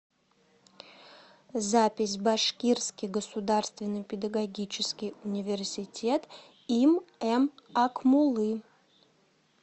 запись башкирский государственный педагогический университет им м акмуллы